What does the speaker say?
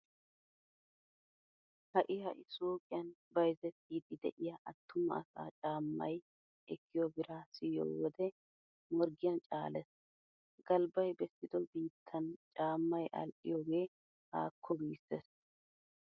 Ha"i ha"i suuqiyan bayzettiiddi de'iya attuma asaa caammay ekkiyo biraa siyiyo wode morggiyan caalees! Galbbay bessido biittan caammay adhdhiyogee haakko giissees.